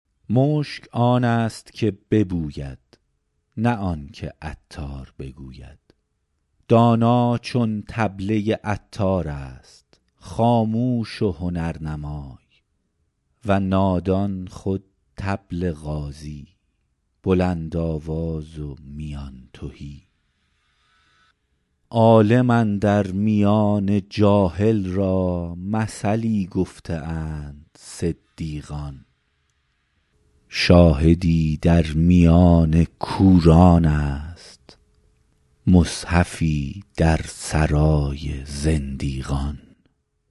مشک آن است که ببوید نه آن که عطار بگوید دانا چو طبله عطار است خاموش و هنرنمای و نادان خود طبل غازی بلندآواز و میان تهی عالم اندر میان جاهل را مثلی گفته اند صدیقان شاهدی در میان کوران است مصحفی در سرای زندیقان